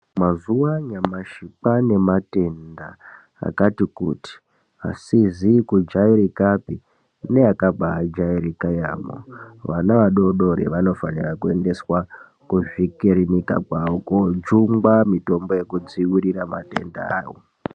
Mazuwa anyamashi kwane nematenda akati kuti asizi kudyairikapi neakabai jairaka yaamho vana vadodori vanofanirwa kuendaswa kuzvikirinika zvavo kundojungwa mutombo wekudziirira matendawo.